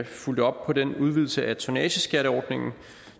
fulgte op på den udvidelse af tonnageskatteordningen